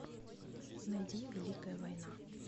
найди великая война